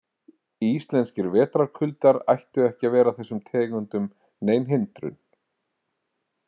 Íslenskir vetrarkuldar ættu ekki að vera þessum tegundum nein hindrun.